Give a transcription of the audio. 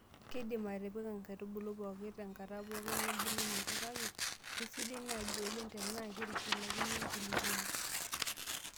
Keidimi atipik nkaitubulu pooki tenkata pookin embulunoto, kake keisidai naaji oleng' tenaa keitushulakini enkulupuoni.